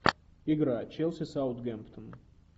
игра челси саутгемптон